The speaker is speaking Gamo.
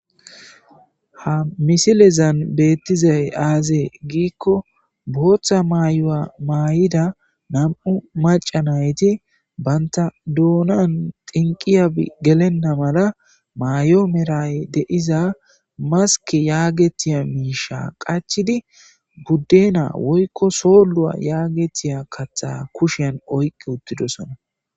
ha misilezan beettizay aazee giikko booththa maayu7a maay7ida nam7u maca nayti banta doonan tinqiya gelenna mala maayo meray deiza maske yaagetiya miisha qachidi guddena woykko soolluwa yaagetiya katha kushan oyqqi uttidosona